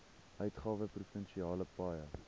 uitgawe provinsiale paaie